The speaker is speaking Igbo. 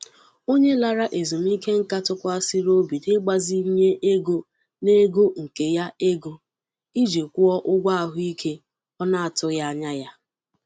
Onye lara ezumike nká tụkwasịrị obi n'ịgbazinye ego n'ego nke ya ego iji kwụọ ụgwọ ahụike ọ na-atụghị anya ya.